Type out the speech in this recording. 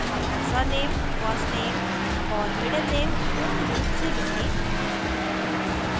अपना surname first name और middle name पूर्ण रूप से लिखें